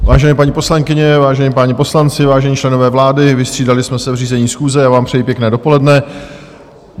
Vážené paní poslankyně, vážení páni poslanci, vážení členové vlády, vystřídali jsme se v řízení schůze, já vám přeji pěkné dopoledne.